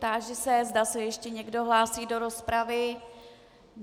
Táži se, zda se ještě někdo hlásí do rozpravy.